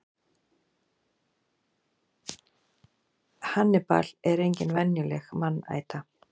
hannibal er engin venjuleg mannæta